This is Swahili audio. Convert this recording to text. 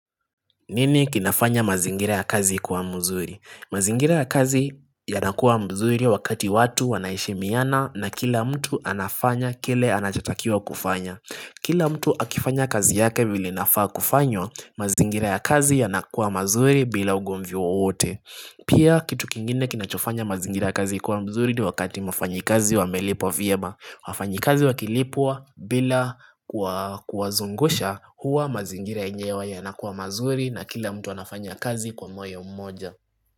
Nini kinafanya mazingira ya kazi kuwa mzuri? Mazingira ya kazi yanakuwa mzuri wakati watu wanaheshimiana na kila mtu anafanya kile anachatakiwa kufanya. Kila mtu akifanya kazi yake vile inafaa kufanywa, mazingira ya kazi yanakuwa mazuri bila ugomvi wowote. Pia kitu kingine kinachofanya mazingira ya kazi kuwa mzuri ni wakati wafanyikazi wamelipwa vyema. Wafanyi kazi wakilipwa bila kuwazungusha huwa mazingira yenyewe yanakuwa mazuri na kila mtu anafanya kazi kwa moyo mmoja.